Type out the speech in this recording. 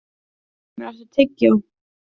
Grímlaugur, áttu tyggjó?